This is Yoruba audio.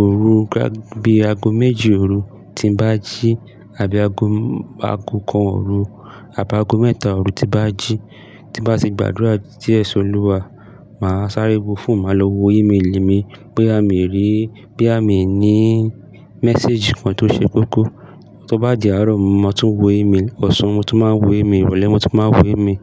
òru gá bí ago méjì òru tí ń bá jí àbí ago ago kan òru àbí ago mẹ́ta òru tí bá jí. Tí bá sì gbàdúrà díẹ̀ sọ lúwà, màá sáré wo fún màá lọ wo ímélì mi pé àmì rí, bí àmì ní message kan tó ṣe kókó. Tó bá di àárọ̀ mo tún wo ímélì, ọ̀sán mo tún máa wo ímélì, ìrọ̀lẹ́ mo tún máa wo ímélì.